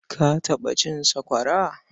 Ka taɓa cin sakwara?